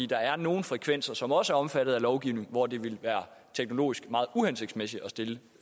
der er nogle frekvenser som også er omfattet af lovgivningen hvor det ville være teknologisk meget uhensigtsmæssigt at stille